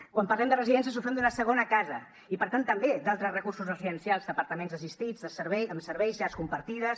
quan parlem de residències ho fem d’una segona casa i per tant també d’altres recursos residencials d’apartaments assistits amb serveis llars compartides